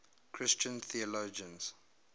christian theologians